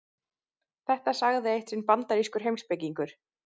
Þetta sagði eitt sinn bandarískur heimspekingur.